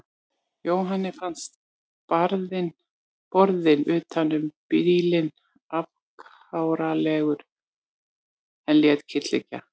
Jóhanni fannst borðinn utan um bílinn afkáralegur en lét kyrrt liggja.